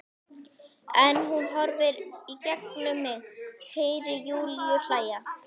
En hún horfir í gegnum mig- Heyri Júlíu hlæja.